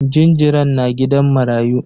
Jinjiran na gidan marayu.